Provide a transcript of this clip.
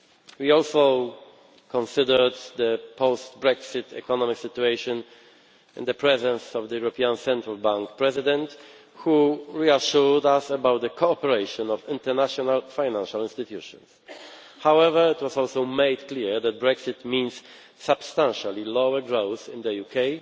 We also considered the post Brexit economic situation in the presence of the European Central Bank President, who reassured us about the cooperation of international financial institutions. However, it was also made clear that Brexit means substantially lower growth in the